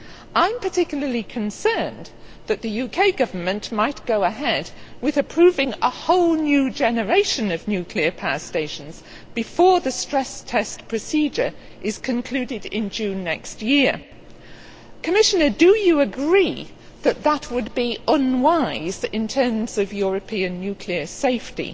I am particularly concerned that the UK Government might go ahead with approving a whole new generation of nuclear power stations before the stress test procedure is concluded in June next year. Commissioner, do you agree that this would be unwise in terms of European nuclear safety?